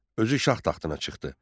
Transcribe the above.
Özü şah taxtına çıxdı.